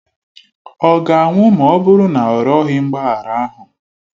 Ọ ga-anwụ ma ọ bụrụ na ọ rịọghị mgbaghara ahụ?